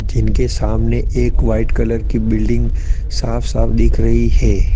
जिनके सामने एक वाइट कलर की बिल्डिंग साफ साफ दिख रही है।